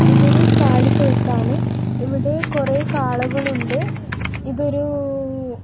ഇതൊരു കാലി തൊഴുത്താണ് ഇവിടെ കുറെ കാളകളുണ്ട് ഇതൊരൂ--